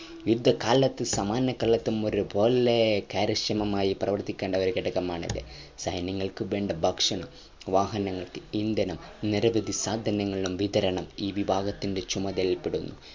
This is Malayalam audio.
യുദ്ധകാലത്തു സമാധാനകാലത്തും ഒരുപോലെ കാര്യക്ഷകമായി പ്രവർത്തിക്കേണ്ട ഒരു ഘടകമാണിത സൈന്യങ്ങൾക്കും വേണ്ട ഭക്ഷണം വാഹനങ്ങൾക്ക് ഇന്ധനം നിരവധി സാദങ്ങളുടെ വിതരണം ഈ വിഭാഗത്തിൻ്റെ ചുമതലയിൽ പെടുന്നു